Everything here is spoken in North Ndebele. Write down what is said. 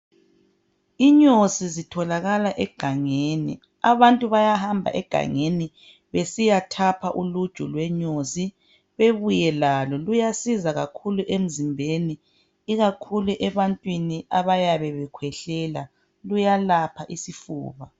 Inyosi zitholakala egangeni. Abantu bayahamba egangeni besiyethapha uluju lwenyosi bebuye lalo. Luyasiza kakhulu emzimbeni ikakhulu ebantwini abayabe bekhwehlela luyelapha isifuba.